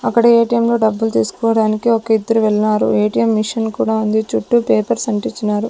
అక్కడ ఏ_టి_ఎమ్ లో డబ్బులు తీసుకోడానికి ఒక ఇద్దరు వెళ్నారు ఏ_టి_ఎమ్ మిషిన్ కూడా ఉంది చుట్టూ పేపర్స్ అంటించినారు.